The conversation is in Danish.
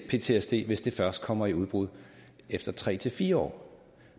ptsd hvis det først kommer i udbrud efter tre fire år